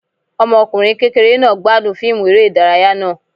Ọmọkunrin kékeré náá gbadún fiimú eré idàráyá naa